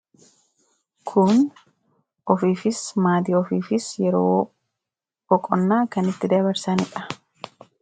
Kun ofiifis maaddii ofiifis yeroo boqonnaa kan itti dabarsaaniidha.